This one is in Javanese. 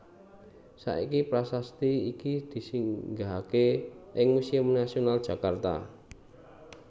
Saiki prasasti iki disinggahaké ing Museum Nasional Jakarta